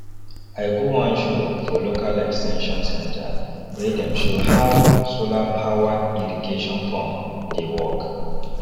i go one show for local ex ten sion centre wey dem show how solarpowered irrigation pump dey work